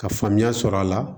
Ka faamuya sɔrɔ a la